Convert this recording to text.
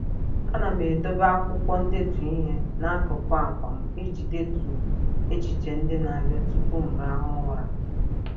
A na m edobe akwụkwọ ndetu ihe n'akụkụ akwa m iji detu echiche ndị na-abịa tụpụ m rahụ ụra.